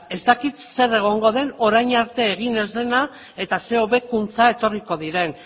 ez dakit zer egongo den orain arte egin ez dena eta ze hobekuntza etorriko diren